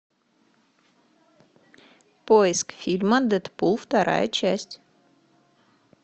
поиск фильма дэдпул вторая часть